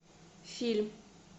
фильм